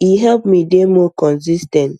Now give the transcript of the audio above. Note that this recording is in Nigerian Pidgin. e help me dey more consis ten t